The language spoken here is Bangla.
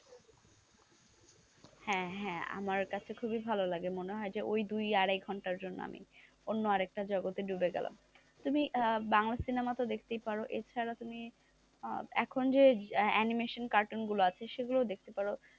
হ্যাঁ হ্যাঁ আমার কাছে খুবই ভালো লাগে মনে হয় যে ওই দুই আড়াই ঘন্টার জন্য আমি অন্য আরেকটা জগতে ডুবে গেলাম তুমি বাংলা সিনেমা তো দেখতে পারবে ছাড়া তুমি এখন যে animation cartoon গুলো আছে সেগুলো দেখতে পারো,